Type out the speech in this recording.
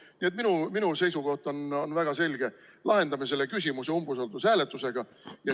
Nii et minu seisukoht on väga selge: lahendame selle küsimuse umbusaldushääletusega.